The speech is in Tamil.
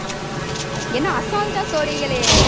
என்ன அசால்ட்டா சொல்றீங்களே